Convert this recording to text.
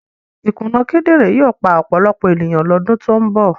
Ìkùnà kíndìnrín yóò pa ọ̀pọ̀lọpọ̀ ènìyàn lọ́dún tó ń bọ̀.